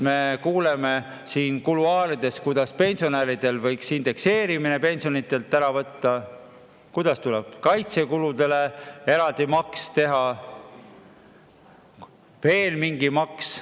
Me kuuleme siin kuluaarides, et pensionide indekseerimise võiks ära jätta, et tuleks kaitsekulude katmiseks eraldi maks teha ja veel mingi maks.